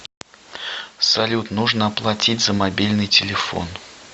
салют нужно оплатить за мобильный телефон